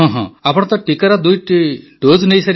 ଆପଣ ତ ଟିକାର ଦୁଇଟି ଡୋଜ୍ ନେଇସାରିବେଣି